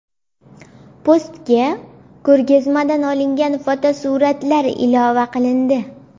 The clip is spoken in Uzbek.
Postga ko‘rgazmadan olingan fotosuratlar ilova qilindi.